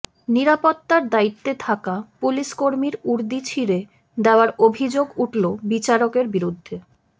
নিরাপত্তার দায়িত্বে থাকা পুলিশকর্মীর উর্দি ছিঁড়ে দেওয়ার অভিযোগ উঠল বিচারকের বিরুদ্ধে